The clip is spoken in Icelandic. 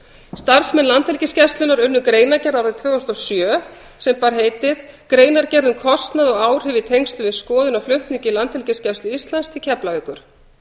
starfsmenn landhelgisgæslunnar unnu greinargerð árið tvö þúsund og sjö sem bar heitið greinargerð um kostnað og áhrif í tengslum við skoðun á flutningi landhelgisgæslu íslands til keflavíkur